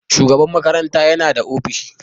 Shugaban makaranta yana da ofishin.